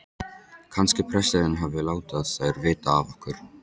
Kannski presturinn hafi látið þær vita af okkur.